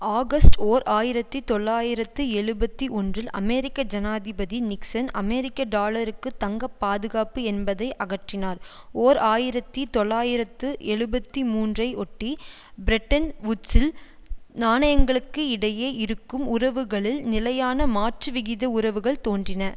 August ஓர் ஆயிரத்தி தொள்ளாயிரத்து எழுபத்து ஒன்றில் அமெரிக்க ஜனாதிபதி நிக்சன் அமெரிக்க டாலருக்கு தங்க பாதுகாப்பு என்பதை அகற்றினார் ஓர் ஆயிரத்தி தொள்ளாயிரத்து எழுபத்தி மூன்று ஐ ஒட்டி பிரெட்டன் வூட்ஸில் நாணயங்களுக்கு இடையே இருக்கும் உறவுகளில் நிலையான மாற்றுவிகித உறவுகள் தோன்றின